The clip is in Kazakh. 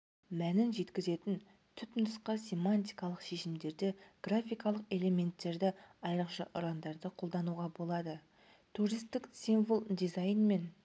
мәнін жеткізетін түпнұсқа семантикалық шешімдерді графикалық элементтерді айрықша ұрандарды қолдануға болады туристік символ дизайн мен